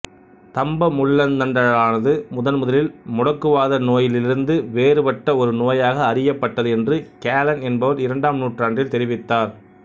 தம்ப முள்ளந்தண்டழலானது முதன்முதலில் முடக்குவாத நோயிலிருந்து வேறுபட்ட ஒரு நோயாக அறியப்பட்டது என்று கேலன் என்பவர் இரண்டாம் நூற்றாண்டில் தெரிவித்தார்